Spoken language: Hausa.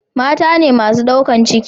mata ne masu daukan ciki